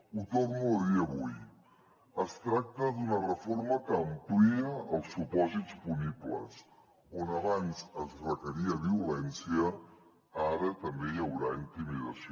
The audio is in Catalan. ho torno a dir avui es tracta d’una reforma que amplia els supòsits punibles on abans es requeria violència ara també hi haurà intimidació